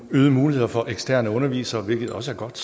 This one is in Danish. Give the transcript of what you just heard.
øgede muligheder for eksterne undervisere hvilket også er godt